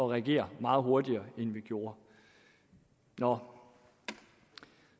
reagere meget hurtigere end vi gjorde nå